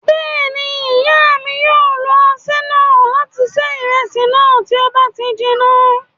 Bẹ́ẹ̀ ni, ìyá mi yóò lo aṣẹ́ náà láti ṣe ìrẹsì náà, tí ó bá ti jiná.